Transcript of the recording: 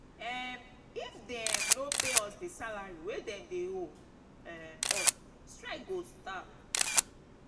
um if dem um no pay us di salary wey dem dey owe um us strike go start.